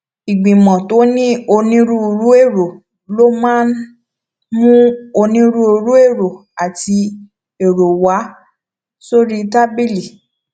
ìgbìmò tó ní onírúurú èrò ló máa ń mú onírúurú èrò àti èrò wá sórí tábìlì